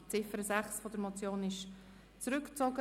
Die Ziffer 6 der Motion ist zurückgezogen.